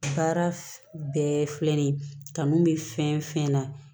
Baara bɛɛ filɛ nin ye kanu bɛ fɛn fɛn na